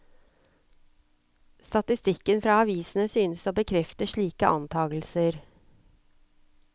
Statistikken fra avisene synes å bekrefte slike antagelser.